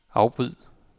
afbryd